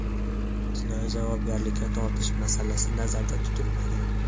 jinoiy javobgarlikka tortilish masalasi nazarda tutilmagan.